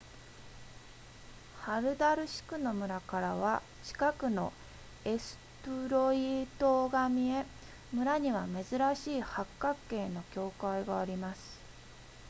ハルダルシクの村からは近くのエストゥロイ島が見え村には珍しい八角形の教会があります